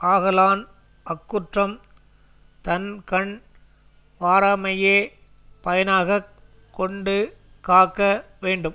ஆகலான் அக்குற்றம் தன்கண் வாராமையே பயனாக கொண்டு காக்க வேண்டும்